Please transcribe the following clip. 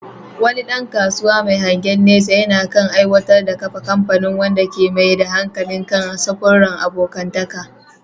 Wani ɗan kasuwa mai hangen nesa yana kan aiwatar da kafa kamfani wanda ke mai da hankali kan samfuran abokantaka.